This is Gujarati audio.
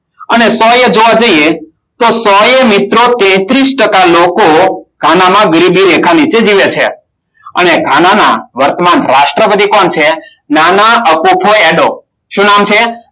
આને સો એ જોવા જઈએ તો સો એ મિત્રો તેત્રીસ ટકા લોકો ગાનામાં ગરીબી રેખા નીચે જીવે છે. અને ગાના ના વર્તમાન રાષ્ટ્રપતિ કોણ છે? શું નામ છે?